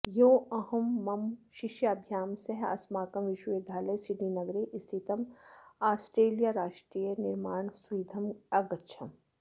ह्योऽहं मम शिष्याभ्यां सह अस्माकं विश्वविद्यालये सिडनीनगरे स्थितमोस्ट्रेलीयाराष्ट्रीयं निर्माणसुविधमगच्छम्